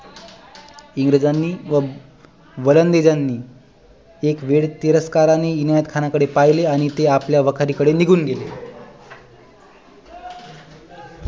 इंग्रजानी व वलंदेजानी एक वेळ तिरस्काराने इनायत खाना कडे पहिले आणि ते आपल्या वखारी कडे निघून गेले